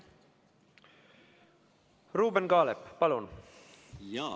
Ruuben Kaalep, palun!